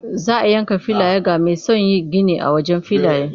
Za a yanka filaye ga mai son yin gini a wajen gari.